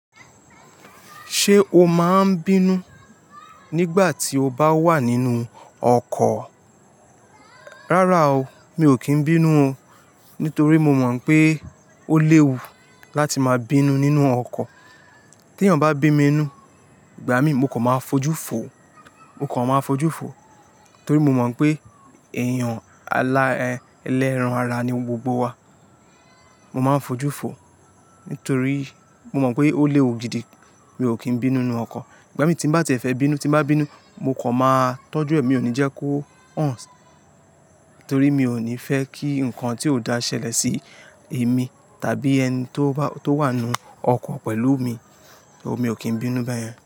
Ṣé o máa ń bínú nígbà tí o bá wà nínú ọkọ̀? Rárá o, mi ò kí ń bínú o. Nítorí mo mọ̀ pé ó léwu láti máa bínú nínú ọkọ̀. Tí èèyàn bá bí n nú, ìgbà míi mo kò máa fojú fò. Mo kan máa fojú fò. Torí mo mọ̀ pé ẹ̀yàn alá ẹ̀, ẹlẹ́ran ara ni gbogbo wa. Mo máa ń fojú fò. Nítorí mo mọ̀ pé ó léwu gidi. Mi ò kí ń bínú nínú ọkan ìgbà mií tí n bá tiẹ̀ fẹ́ bínú, tí n bá bínú, mo kò máa tọ́jú ẹ̀, mi ò ní jẹ́ kó hàn. Torí mi ò ní fẹ́ kí ǹkan tí ò dá ṣẹlẹ̀ sí èmi, tàbí ẹni tó bá, tó wà nínú ọkọ̀ pẹ̀lú mi. Mi ò kí ń bínú beyẹn.